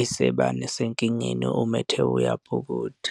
esibani senkingeni, uma ethe uyabhukuda.